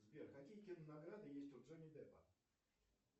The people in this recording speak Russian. сбер какие кинонаграды есть у джонни деппа